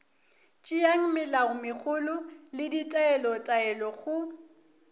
tšeang melaomegolo le ditaelotaelo go